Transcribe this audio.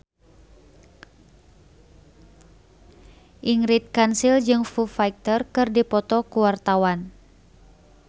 Ingrid Kansil jeung Foo Fighter keur dipoto ku wartawan